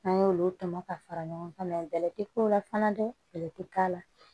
N'an y'olu tɔmɔ ka fara ɲɔgɔn kan bɛlɛ tɛ k'o la fana dɛ bɛlɛ tɛ k'a la